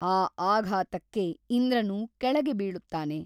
ಆ ಆಘಾತಕ್ಕೆ ಇಂದ್ರನು ಕೆಳಗೆ ಬೀಳುತ್ತಾನೆ.